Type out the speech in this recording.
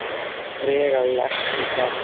um trega lekt í bergi.